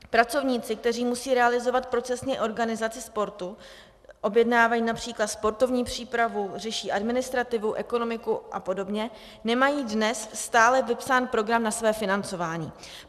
Pracovníci, kteří musí realizovat procesně organizaci sportu, objednávají například sportovní přípravu, řeší administrativu, ekonomiku a podobně, nemají dnes stále vypsán program na své financování.